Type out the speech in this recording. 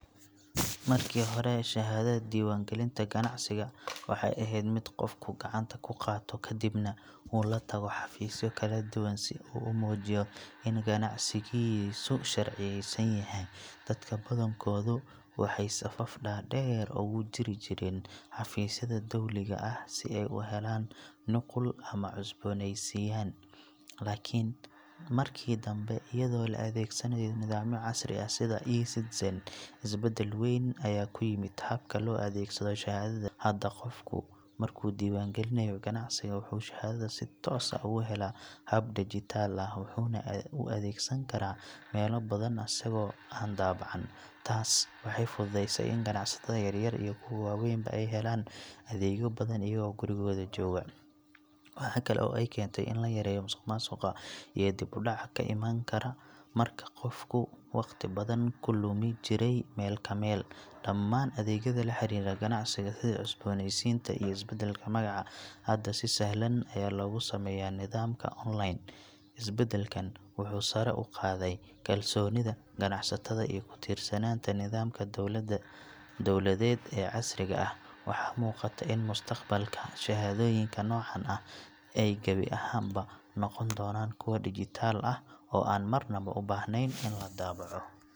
Markii hore shahaadada diiwaangelinta ganacsiga waxay ahayd mid qofku gacanta ku qaato kadibna uu la tago xafiisyo kala duwan si uu u muujiyo in ganacsigiisu sharciyeysan yahay. Dadka badankoodu waxay safaf dhaadheer ugu jiri jireen xafiisyada dowliga ah si ay u helaan nuqul ama u cusboonaysiiyaan. Laakiin markii danbe, iyadoo la adeegsanayo nidaamyo casri ah sida e-Citizen, isbeddel weyn ayaa ku yimid habka loo adeegsado shahaadadaas. Hadda qofku markuu diiwaangeliyo ganacsigiisa, wuxuu shahaadada si toos ah uga helaa hab dijitaal ah, wuxuuna u adeegsan karaa meelo badan isagoo aan daabacan. Taas waxay fududeysay in ganacsatada yaryar iyo kuwa waaweynba ay helaan adeegyo badan iyagoo gurigooda jooga. Waxa kale oo ay keentay in la yareeyo musuqmaasuqa iyo dib u dhaca ka iman jiray marka qofku waqti badan ku lumi jiray meel ka meel. Dhammaan adeegyada la xiriira ganacsiga sida cusboonaysiinta iyo isbeddelka magaca, hadda si sahlan ayaa loogu sameeyaa nidaamka online. Isbeddelkan wuxuu sare u qaaday kalsoonida ganacsatada iyo ku tiirsanaanta nidaamka dowladeed ee casriga ah. Waxaa muuqata in mustaqbalka, shahaadooyinka noocan ah ay gebi ahaanba noqon doonaan kuwo dhijitaal ah oo aan marna u baahnayn in la daabaco.